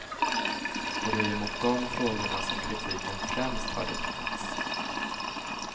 Och det är ju mot de frågorna som kritiken främst har riktats.